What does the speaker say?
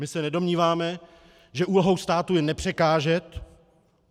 My se nedomníváme, že úlohou státu je nepřekážet.